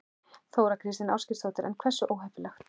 Þóra Kristín Ásgeirsdóttir: En hversu óheppileg?